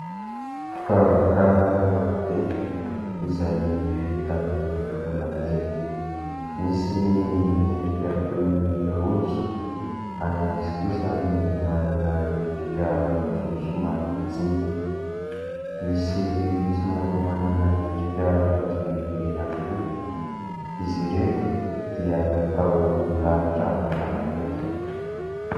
Firavaka maro be izay vita amin'ny volamena. Misy ny miendrika toy ny rojo ary misy kosa ny manana endrika rojo somary majinika, misy somary manana endrika rojo lehibe ihany koa. Izy ireto dia natao milahatra mifanakaiky.